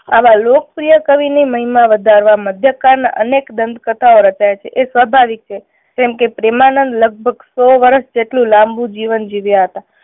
આવા લોકપ્રિય કવિ ની મહિમા વધારવા મધ્યકાન અનેક દાંત કથાઓ રચાય છે એ સ્વાભાવિક છે કેમ કે પ્રેમાનંદ લગભગ સો વર્ષ જેટલું લાંબુ જીવન જીવ્યા હતા.